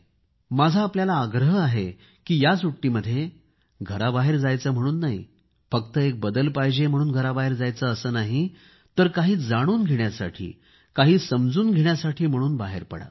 माझा आपल्याला आग्रह आहे की या सुट्टीमध्ये घराबाहेर जायचे म्हणून नाही फक्त एक बदल पाहिजे म्हणून घराबाहेर जायचे असे नाही तर काही जाणून घेण्यासाठी काही समजून घेण्यासाठी म्हणून बाहेर पडा